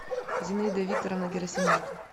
зинаида викторовна герасименко